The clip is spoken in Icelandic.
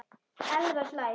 Elvar hlær.